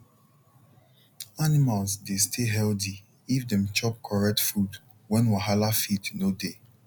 animals dey stay healthy if dem chop correct food when wahala feed no dey